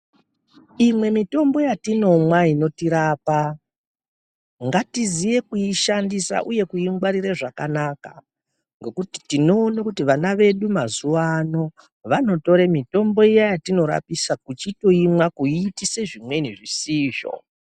Imwe mitombo yatinomwa inotirapa ngatiziye kuishandisa uye kuingwarire zvakanaka ngekuti tinoone kuti vana vedu mazuwa ano vanotore mitombo iya yatinorapisa kuchitoimwa kuyitise zvimweni zvisizvo.